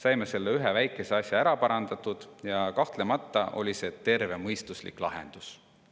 Saime selle ühe väikese asja ära parandatud ja kahtlemata oli see tervemõistuslik lahendus.